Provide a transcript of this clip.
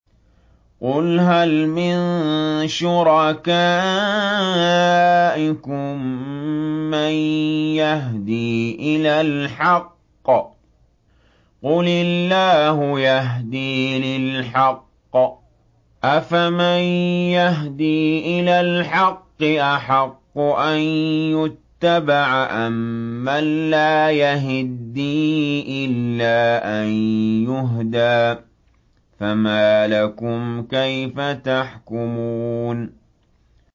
قُلْ هَلْ مِن شُرَكَائِكُم مَّن يَهْدِي إِلَى الْحَقِّ ۚ قُلِ اللَّهُ يَهْدِي لِلْحَقِّ ۗ أَفَمَن يَهْدِي إِلَى الْحَقِّ أَحَقُّ أَن يُتَّبَعَ أَمَّن لَّا يَهِدِّي إِلَّا أَن يُهْدَىٰ ۖ فَمَا لَكُمْ كَيْفَ تَحْكُمُونَ